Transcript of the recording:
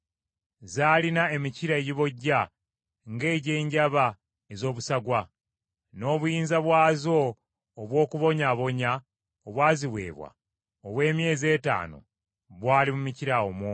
Zaalina emikira egibojja ng’egy’enjaba ez’obusagwa. N’obuyinza bwazo obw’okubonyaabonya obwaziweebwa obw’emyezi etaano bwali mu mikira omwo.